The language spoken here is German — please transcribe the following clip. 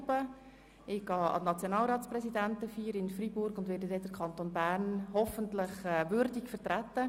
Ich nehme an der Nationalratspräsidentenfeier in Freiburg teil, um dort den Kanton Bern hoffentlich würdig zu vertreten.